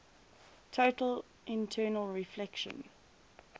total internal reflection